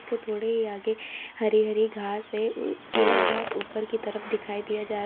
थोड़ी आगे हरी हरी घास से किला बहुत ऊपर की तरफ दिखाई दिया जा--